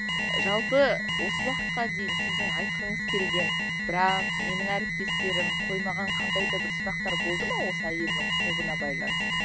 жалпы осы уақытқа дейін сіздің айтқыңыз келген бірақ менің әріптестерім қоймаған қандайда бір сұрақтар болды ма осы әйелдің құқығына байланысты